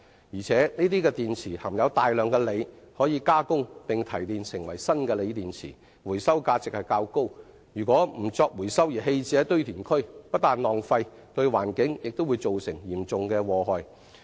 而且，這些電池含有大量的鋰元素，可加工並提煉成為新的鋰電池，回收價值較高，若不作回收而棄置於堆填區，不但浪費，對環境亦造成嚴重的禍害。